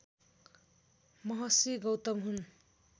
महर्षि गौतम हुन्